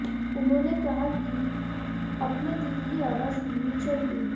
उन्होंने कहा कि अपने दिल की आवाज सुननी चाहिए